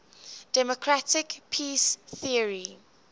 democratic peace theory